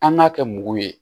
An k'a kɛ mugu ye